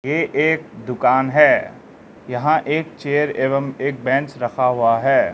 ये एक दुकान है यहां एक चेयर एवं एक बैंच रखा हुआ है।